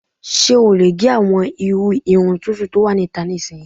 Ṣé o lè gẹ àwọn irú irun tuntun tó wà níta nísinyi?